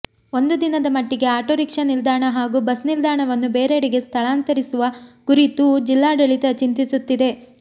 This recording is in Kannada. ಒಂದು ದಿನದ ಮಟ್ಟಿಗೆ ಆಟೋರಿಕ್ಷಾ ನಿಲ್ದಾಣ ಹಾಗೂ ಬಸ್ ನಿಲ್ದಾಣವನ್ನು ಬೇರೆಡೆಗೆ ಸ್ಥಳಾಂತರಿಸುವ ಕುರಿತೂ ಜಿಲ್ಲಾಡಳಿತ ಚಿಂತಿಸುತ್ತಿದೆ